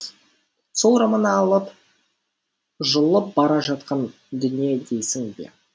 сол романы алып жұлып бара жатқан дүние дейсің бе